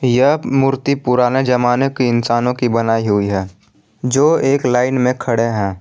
यह मूर्ति पुराने जमाने के इंसानों की बनाई हुई है जो एक लाइन में खड़े हैं।